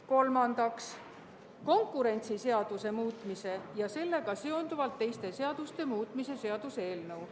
Kolmandaks, konkurentsiseaduse muutmise ja sellega seonduvalt teiste seaduste muutmise seaduse eelnõu.